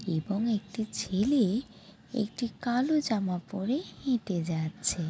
এবং একটি ছেলে-এ একটি কালো জামা পরে হেটে যাচ্ছে।